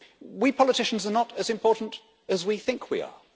We politicians are not as important as we think we are.